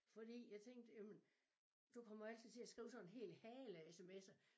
Fordi jeg tænkte jamen du kommer jo altid til at skrive sådan en hel hale af smser